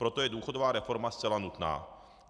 Proto je důchodová reforma zcela nutná.